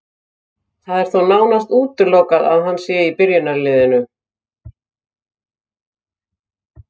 Það er þó nánast útilokað að hann sé í byrjunarliðinu.